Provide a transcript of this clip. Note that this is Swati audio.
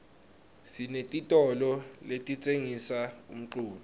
sinetitolo letitsengisa umculo